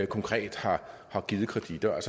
konkret har givet kreditter jeg